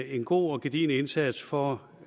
en god og gedigen indsats for